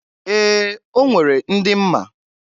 Ee! O nwere ndị m ma.